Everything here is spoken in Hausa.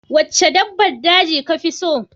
Wacce dabbar daji kafi so?